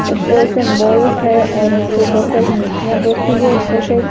ऊपर सिम्बोल है और यहां पर बहोत सारी मूर्तियां बैठी हुई है ऊपर साइड --